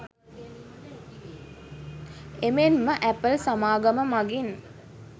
එමෙන්ම ඇපල් සමාගම මගින්